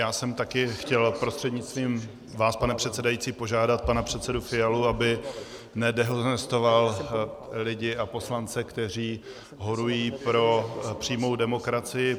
Já jsem také chtěl prostřednictvím vás, pane předsedající, požádat pana předsedu Fialu, aby nedehonestoval lidi a poslance, kteří horují pro přímou demokracii.